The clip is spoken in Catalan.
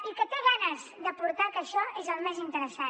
i que té ganes d’aportar que això és el més interessant